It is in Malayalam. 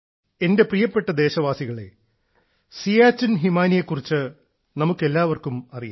എന്റെ പ്രിയപ്പെട്ട ദേശവാസികളെ സിയാച്ചിൻ ഹിമാനിയെക്കുറിച്ച് നമുക്കെല്ലാവർക്കും അറിയാം